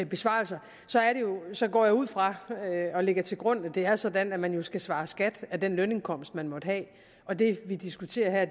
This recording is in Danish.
besvarelser går jeg ud fra og lægger til grund at det er sådan at man jo skal svare skat af den lønindkomst man måtte have og det vi diskuterer her